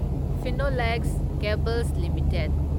Phenolex cables limited